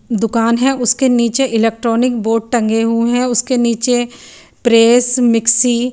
दुकान है उसके नीचे इलेक्ट्रॉनिक बोर्ड टंगे हुए हैं उसके नीचे प्रेस मिक्सी --